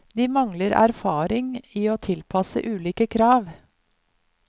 De mangler erfaring i å tilpasse ulike krav.